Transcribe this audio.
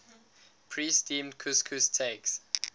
pre steamed couscous takes